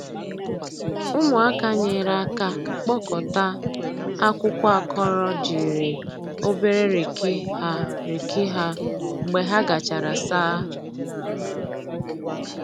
Ụmụaka nyere aka kpọkọta akwụkwọ akọrọ jiri obere riki ha riki ha mgbe ha gachara saa.